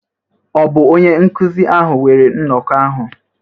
Ọ̀ bụ onye nkụzi ahụ weere nnọkọ ahụ?